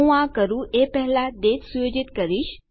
હું આ કરું એ પહેલા દાતે સુયોજિત કરીશ